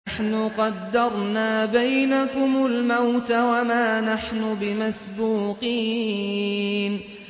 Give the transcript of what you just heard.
نَحْنُ قَدَّرْنَا بَيْنَكُمُ الْمَوْتَ وَمَا نَحْنُ بِمَسْبُوقِينَ